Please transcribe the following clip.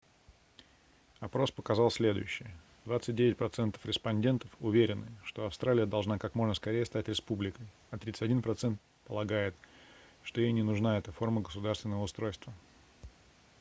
опрос показал следующее 29 процентов респондентов уверены что австралия должна как можно скорее стать республикой а 31 процент полагает что ей не нужна эта форма государственного устройства